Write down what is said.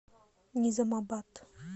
низамабад